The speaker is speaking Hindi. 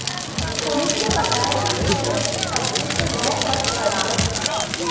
पुलिस ने बताया कि किशोर के कब्जे से वह पर्स बरामद किया